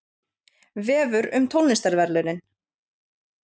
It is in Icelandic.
Vefur um tónlistarverðlaunin